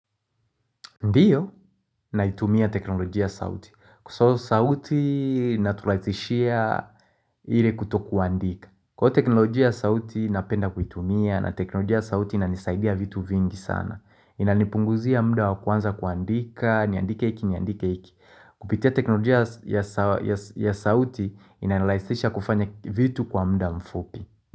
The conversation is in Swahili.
Ndiyo, naitumia teknolojia sauti. So sauti inatulaisishia ile kuto kuandika. Kwa teknolojia sauti napenda kuitumia na teknolojia sauti inanisaidia vitu vingi sana. Inanipunguzia muda wakuanza kuandika, niandike iki, niandike iki. Kupitia teknolojia ya sauti inanilaisisha kufanya vitu kwa muda mfupi.